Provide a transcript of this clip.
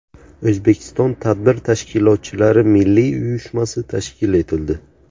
O‘zbekiston Tadbir tashkilotchilari milliy uyushmasi tashkil etildi.